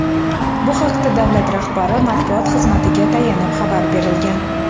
Bu haqda davlat rahbari matbuot xizmatiga tayanib xabar berilgan.